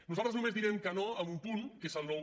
nosaltres només direm que no en un punt que és el nou